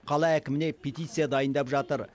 қала әкіміне петиция дайындап жатыр